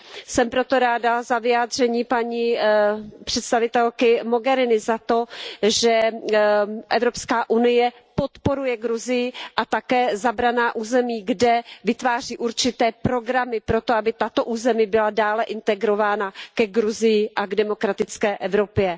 Jsem proto ráda za vyjádření paní představitelky Mogheriniové, za to, že EU podporuje Gruzii a také zabraná území, kde vytváří určité programy proto, aby tato území byla dále integrována ke Gruzii a k demokratické Evropě.